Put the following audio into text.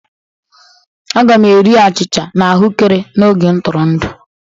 Aga m eri achịcha na ahụekere n'oge ntụrụndụ